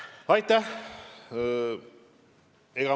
Aitäh!